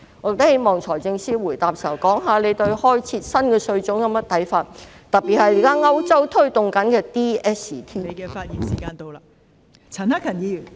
我希望財政司司長在答辯時可談談他對開設新稅種有何看法，特別是歐洲現時正推動的 digital services tax ......